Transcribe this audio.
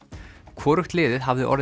hvorugt liðið hafði orðið